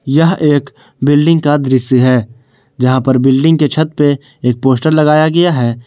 यह एक बिल्डिंग का दृश्य है जहां पर बिल्डिंग पे छत पर एक पोस्टर लगाया गया है।